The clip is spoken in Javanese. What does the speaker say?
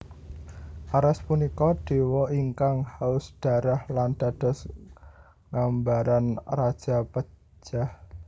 Ares punika dewa ingkang haus darah lan dados gambaran rajapejah